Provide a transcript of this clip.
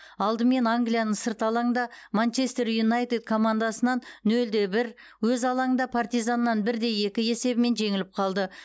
алдымен англияның сырт алаңда манчестер юнайтед командасынан нөл де бір өз алаңында партизаннан бір де екі есебімен жеңіліп қалды